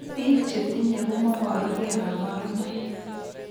Biik chetinye komoboru kee kabarunaik